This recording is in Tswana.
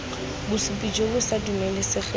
bosupi jo bo sa dumelesegeng